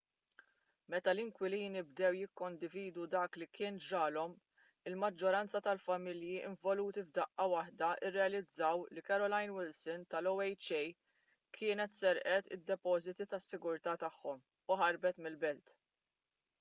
meta l-inkwilini bdew jikkondividu dak li kien ġralhom il-maġġoranza tal-familji involuti f'daqqa waħda rrealizzaw li carolyn wilson tal-oha kienet serqet id-depożiti tas-sigurtà tagħhom u ħarbet mill-belt